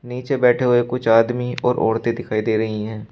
नीचे बैठे हुए कुछ आदमी और औरतें दिखाई दे रही हैं।